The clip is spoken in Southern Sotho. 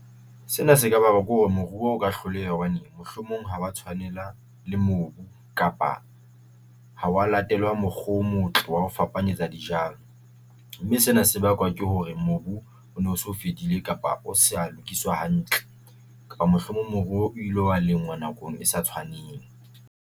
Sena se ka bakwa ke hore moruo o ka hloleha hobane mohlomong ha wa tshwanela le mobu kapa ha wa latelwa mokgo o motle wa ho fapanyetsa dijalo, mme se na se bakwa ke hore mobu o no so fedile kapa o sa lokiswa hantle kapa mohlomong mobu o ile wa lengwa nakong e sa tshwaneng.